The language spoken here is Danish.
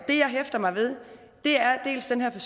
det jeg hæfter mig ved er dels den her